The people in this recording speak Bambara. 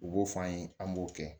U b'o f'an ye an b'o kɛ